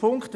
Punkt 1